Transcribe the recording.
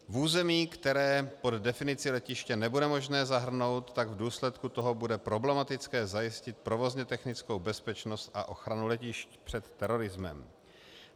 V území, které pod definici letiště nebude možné zahrnout, tak v důsledku toho bude problematické zajistit provozně technickou bezpečnost a ochranu letišť před terorismem.